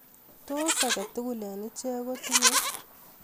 Tos agetugul eng ichet ko tinye